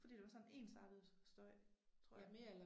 Fordi der var sådan ensartet støj tror jeg